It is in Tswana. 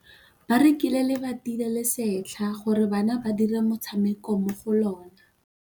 Ba rekile lebati le le setlha gore bana ba dire motshameko mo go lona.